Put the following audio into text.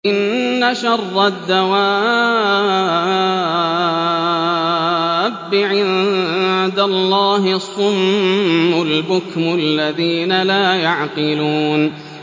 ۞ إِنَّ شَرَّ الدَّوَابِّ عِندَ اللَّهِ الصُّمُّ الْبُكْمُ الَّذِينَ لَا يَعْقِلُونَ